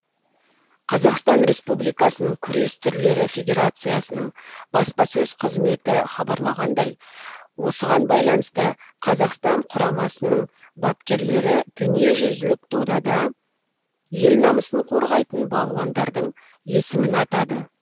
қазақстан республикасының күрес түрлері федерациясының баспасөз қызметі хабарлағандай осыған байланысты қазақстан құрамасының бапкерлері дүниежүзілік додада ел намысын қорғайтын балуандардың есімін атады